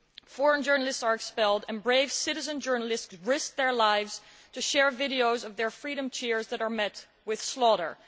Foreign journalists are expelled and brave citizen journalists risk their lives to share videos of their freedom cheers that are met with slaughter.